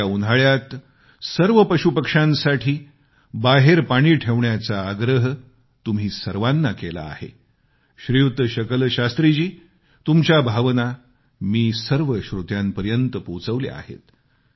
येत्या उन्हाळ्यात सर्व पशुपक्ष्यांसाठी बाहेर पाणी ठेवण्याचा आग्रह तुम्ही सर्वांना केला आहे श्रीयुत शकल शास्त्रीजी तुमच्या भावना मी सर्व श्रोत्यांपर्यत पोचवल्या आहेत